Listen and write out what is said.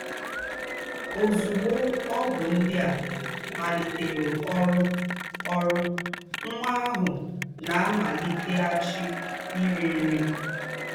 Ọ́zùgbó ógwù ńdị́ à màlìtèrụ̀ ọ́rụ́, ọ́rụ́, nwà àhụ̀ ná-àmàlìtèghàchì írì nrí.